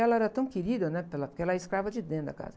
E ela era tão querida, né? Porque ela, ela era escrava de dentro da casa.